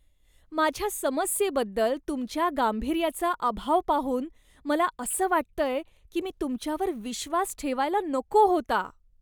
माझ्या समस्येबद्दल तुमच्या गांभीर्याचा अभाव पाहून मला असं वाटतंय की मी तुमच्यावर विश्वास ठेवायला नको होता.